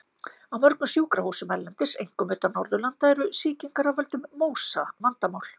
Á mörgum sjúkrahúsum erlendis, einkum utan Norðurlanda, eru sýkingar af völdum MÓSA vandamál.